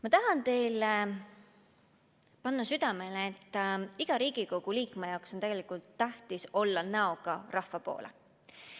Ma tahan teile panna südamele, et iga Riigikogu liikme jaoks on tegelikult tähtis olla näoga rahva poole.